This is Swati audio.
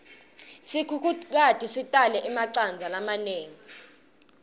sikhukhukati sitalele emacandza lamanengi